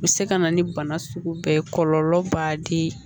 U bɛ se ka na ni bana sugu bɛɛ ye kɔlɔlɔ b'a di